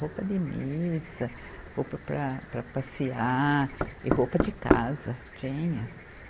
Roupa de missa, roupa para, para passear e roupa de casa, tinha.